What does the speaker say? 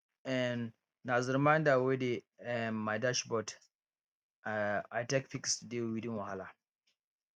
um na the reminder wey dey um my dashboard um i take fix today weeding wahala